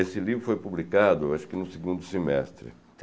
Esse livro foi publicado, acho que no segundo semestre.